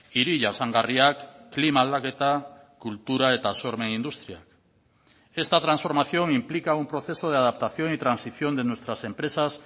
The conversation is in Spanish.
hiri jasangarriak klima aldaketa kultura eta sormen industriak esta transformación implica un proceso de adaptación y transición de nuestras empresas